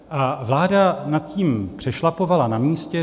A vláda nad tím přešlapovala na místě.